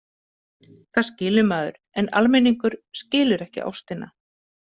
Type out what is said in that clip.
Það skilur maður, en almenningur skilur ekki ástina.